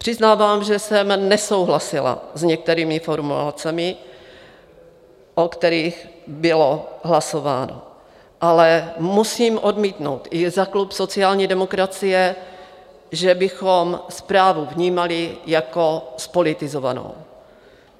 Přiznávám, že jsem nesouhlasila s některými formulacemi, o kterých bylo hlasováno, ale musím odmítnout za klub sociální demokracie, že bychom zprávu vnímali jako zpolitizovanou.